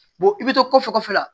i bɛ to kɔfɛ kɔfɛ la